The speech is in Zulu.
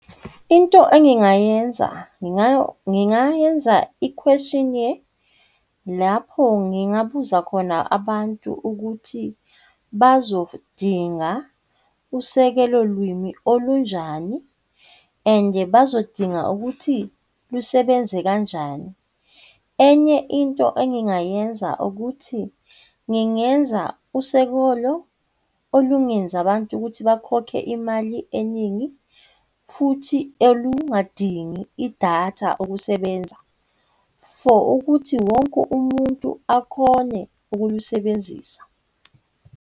Into engingayenza ngingaya ngingayenza i-questionnaire, lapho ngingabuza khona abantu ukuthi bazodinga usekelo lwimi olunjani, ande bazodinga ukuthi lusebenze kanjani. Enye into engingayenza ukuthi, ngingenza usekolo olungenza abantu ukuthi bakhokhe imali eningi futhi elungadingi idatha ukusebenza, for ukuthi wonke umuntu akhone ukulisebenzisa.